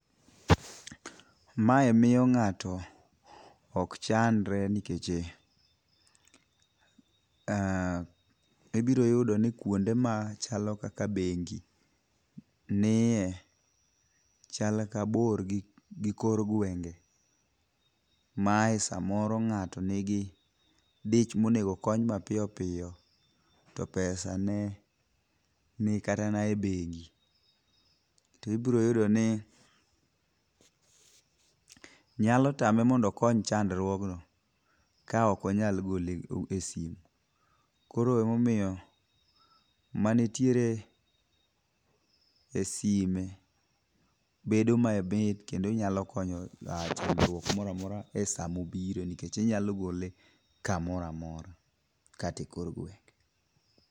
Mae miyo ng'at ok chandre nikeche ibiro yudo ni kuonde machalo kaka bengi niye chal ka bor gi kor gwenge mae samoro ng'ato nigi dich monegokony mapiyopiyo to pesa ne ni kata e bengi. Tibroyudoni nyalo tame mondo okony chandruogno, kaokonyal gole e simu. Koro emomiyo manitiere e sime bedo mamit kendo inyalo konyo chandruok moramora e samobire nikech inyalo gole kamoramora katekor gwenge.